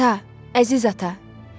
Ata, əziz ata.